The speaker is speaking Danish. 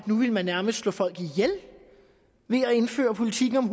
man nærmest ville slå folk ihjel ved at indføre politikken om